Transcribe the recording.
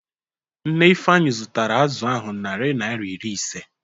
Nne Ifeanyi zụtara azụ ahụ naari naira iri ise.